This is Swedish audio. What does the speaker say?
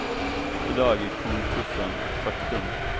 I dag är konkursen ett faktum.